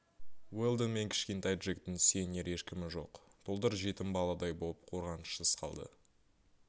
уэлдон мен кішкентай джектің сүйенер ешкімі жоқ тұлдыр жетім баладай боп қорғанышсыз қалды